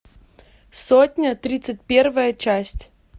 сотня тридцать первая часть